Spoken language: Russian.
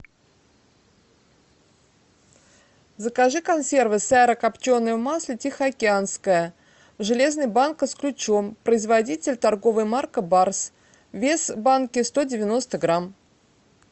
закажи консервы сайра копченая в масле тихоокеанская железная банка с ключом производитель торговая марка барс вес банки сто девяносто грамм